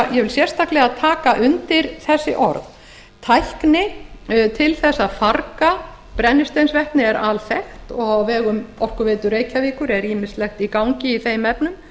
tek sérstaklega undir þessi orð tækni til að farga brennisteinsvetni er alþekkt og á vegum orkuveitu reykjavíkur er ýmislegt í gangi í þeim efnum